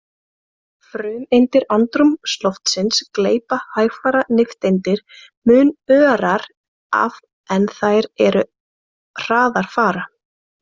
Frumeindir andrúmsloftsins gleypa hægfara nifteindir mun örar af en þær er hraðar fara.